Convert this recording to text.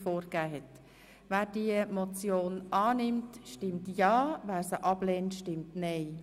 Wer die Motion annimmt, stimmt ja, wer sie ablehnt, stimmt nein.